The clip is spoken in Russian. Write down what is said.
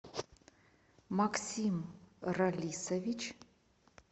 максим ралисович